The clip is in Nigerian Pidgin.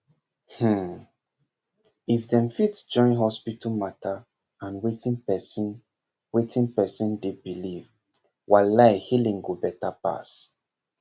hmmm if dem fit join hospital matter and wetin person wetin person dey believe walai healing go better pass